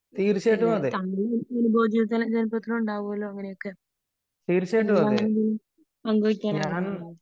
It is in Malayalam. ഇല്ല . താങ്കള്ക്ക് ഇതുപോലത്തെ പ്രശ്നമുണ്ടാകുമല്ലോ ഇതുപോലത്തെ അങ്ങനെ എന്തെങ്കിലും പങ്കുവയ്ക്കാൻ ആഗ്രഹിക്കുന്നുണ്ടോ ?